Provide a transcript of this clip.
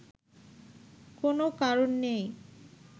কোনো কারণ নেই